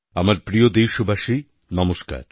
আমার প্রিয় দেশবাসী নমস্কার